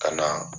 Ka na